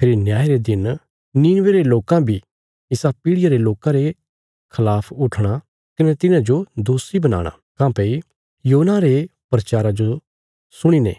फेरी न्याय रे दिन नीनवे रे लोकां बी इसा पीढ़ियां रे लोकां रे खलाफ उट्ठणा कने तिन्हाजो दोषी बनाणा काँह्भई योना रे प्रचारा जो सुणीने